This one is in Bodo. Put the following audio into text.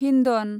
हिन्दन